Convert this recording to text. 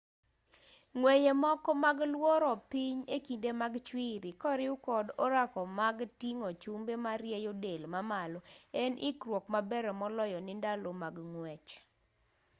ng'weye moko mag luoro piny e kinde mag chwiri koriw kod orako mag ting'o chumbe marieyo del mamalo en ikruok maber moloyo ne ndalo mag ng'wech